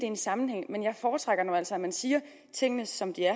en sammenhæng men jeg foretrækker nu altså at man siger tingene som de er